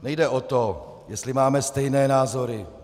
Nejde o to, jestli máme stejné názory.